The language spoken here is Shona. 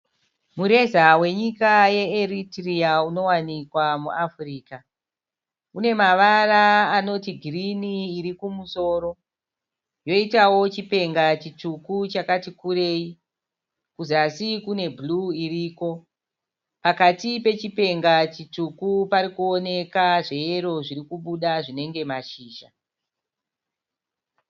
Mureza wenyika ye Eritrea unowanikwa muAfrica une mavara anoti girini iri kumusoro yoitawo chipenga chitsvuku chakati kurei kuzasi kune bhuruu iriko pakati pechipenga chitsvuku pari kuoneka zveyero zviri kubuda zvinenge mashizha.